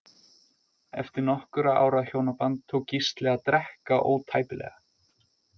Eftir nokkurra ára hjónaband tók Gísli að drekka ótæpilega.